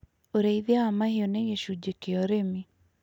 Ũrĩithia wa mahiũ nĩ gĩcunjĩ kĩa ũrĩmi.